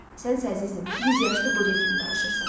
Sənsə əzizim, 100 yaşlı qoca kimi danışırsan.